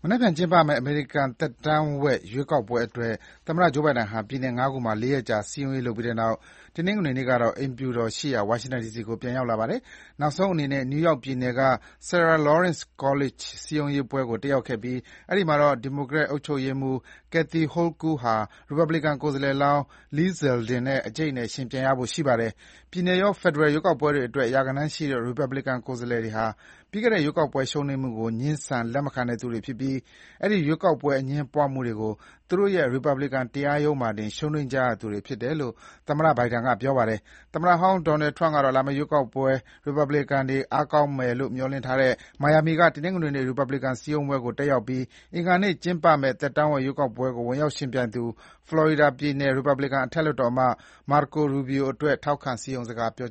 နက်ဖြန်ကျင်းပမယ့် အမေရိကန်သက်တမ်းဝက်ရွေးကောက်ပွဲအတွက် သမ္မတ Joe Biden ဟာ ပြည်နယ်ငါးခုမှာ လေးရက်ကြာစည်းရုံးရေးလုပ်ပြီးတဲ့နောက် တနင်္ဂနွေနေ့ကတော့ သမ္မတအိမ်ဖြူတော်ရှိရာ ဝါရှင်တန်ဒီစီကို ပြန်ရောက်ပါတယ်။ နောက်ဆုံးအနေနဲ့ နယူးယောက်ပြည်နယ်က Sarah Lawrence College စည်းရုံးရေးပွဲကို တတ်ရောက်ခဲ့ပြီး၊ အဲဒီမှာတော့ ဒီမိုကရက်တစ်အုပ်ချုပ်ရေးမှုး Kathy Hochul (ကယ်သီဟိုကဲလ်) ဟာ ရီပတ်ပလင်ကန် ကိုယ်စားလှယ်လောင်း Lee Zeldin နဲ့ အကျိတ်အနယ်ယှဉ်ပြိုင်ရဖို့ရှိပါတယ်။ ပြည်နယ်ရော ဖယ်ဒရယ် ရွေးကောက်ပွဲတွေအတွက်ပါ ရာဂဏန်းရှိတဲ့ ရီပတ်ဗလစ်ကန်ကိုယ်စားလှယ်တွေဟာ ပြီးခဲ့တဲ့ရွေးကောက်ပွဲရှုံးနိမ့်မှုကို ငြင်းဆန်လက်မခံတဲ့သူတွေဖြစ်ပြီး၊ အဲဒီ ရွေးကောက်ပွဲအငြင်းပွားမှုတွေကို သူတို့ရဲ့ ရီပတ်ဗလစ်ကန်တရားရုံးမှာတင် ရှုံးနိမ့်ကြရသူတွေဖြစ်တယ်လို့ သမ္မတ Biden က ပြောခဲ့ပါတယ်။ သမ္မတဟောင်း Donald Trump ကတော့ လာမယ့် ရွေးကောက်ပွဲ ရီပတ်ဗလစ်ကန်တွေ အားကောင်းမယ် မျှော်လင့်ထားတဲ့ မိုင်ယာမီက တနင်္ဂနွေနေ့ ရီပတ်ဗလစ်ကန်စည်းရုံးရေးပွဲကို တတ်ရောက်ပြီး၊ အင်္ဂါနေ့ ကျင်းပမယ့် သက်တမ်းဝက်ရွေးကောက်ပွဲကို ဝင်ရောက်ယှဉ်ပြိုင်သူ ဖလော်ရီဒါပြည်နယ် ရီပတ်ပလင်ကန်အထက်လွှတ်တော်အမတ် Marco Rubio အတွက် ထောက်ခံ စည်းရုံးစကားပြော